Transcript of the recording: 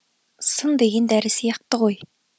сын деген дәрі сияқты ғой